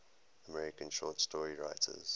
american short story writers